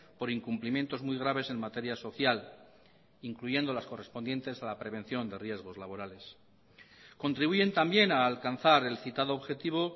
por incumplimientos muy graves en materia social incluyendo las correspondientes a la prevención de riesgos laborales contribuyen también a alcanzar el citado objetivo